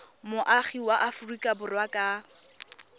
moagi wa aforika borwa ka